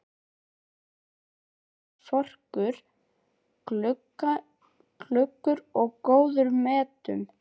Hann var dugnaðarforkur, glöggur og í góðum metum.